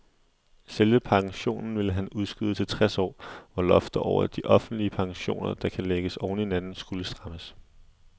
Selve pensionen ville han udskyde til tres år, hvor loftet over offentlige pensioner, der kan lægges oven i hinanden, skulle strammes.